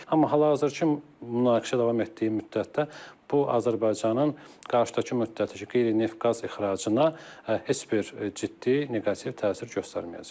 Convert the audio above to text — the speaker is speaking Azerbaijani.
Amma hazırki münaqişə davam etdiyi müddətdə bu Azərbaycanın qarşıdakı müddətdəki qeyri-neft-qaz ixracına heç bir ciddi neqativ təsir göstərməyəcək.